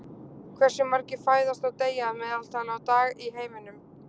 Hversu margir fæðast og deyja að meðaltali á dag í heiminum?